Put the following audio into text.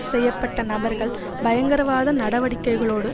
செய்ய பட்ட நபர்கள் பயங்கரவாத நடவடிக்கைகளோடு